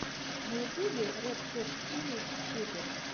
на ютубе ред хот чили пеперс